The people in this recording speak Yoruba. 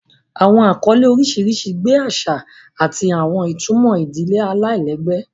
Awọn akọle oriṣiriṣi gbe aṣa ati awọn itumọ idile alailẹgbẹ.